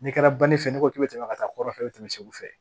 N'i kɛra banike fɛ n'i ko k'i bɛ tɛmɛ ka taa kɔrɔfɛ i bɛ tɛmɛ segu fɛ